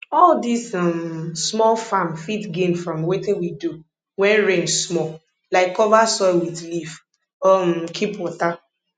all dis um small farm fit gain from wetin we do wen rain small like cover soil with leaf or um keep water